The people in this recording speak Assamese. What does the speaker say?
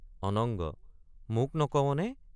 অনঙ্গ—মোক নকৱনে?